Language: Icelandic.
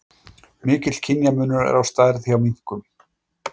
Mikill kynjamunur er á stærð hjá minkum.